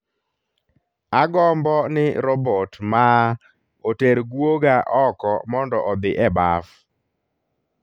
Agombo ni robot maa oter guoga oko mondo odhi e baf